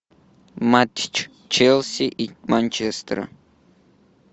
матч челси и манчестера